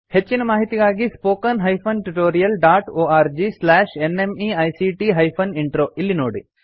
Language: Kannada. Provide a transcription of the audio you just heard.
ಹೆಚ್ಚಿನ ಮಾಹಿತಿಗಾಗಿ spoken hyphen tutorial dot org slash NMEICT hyphen intro ಇಲ್ಲಿ ನೋಡಿ